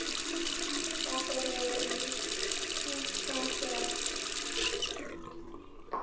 Ófriði í aðsigi.